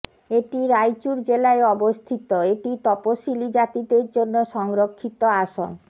এটি রাইচুর জেলায় অবস্থিত এটি তপসিলী জাতিদের জন্য সংরক্ষিত আসন